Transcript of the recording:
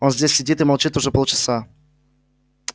он здесь сидит и молчит уже полчаса